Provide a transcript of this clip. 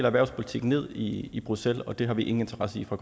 erhvervspolitikken ned i bruxelles og det har vi ingen interesse i fra